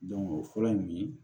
o fɔlɔ in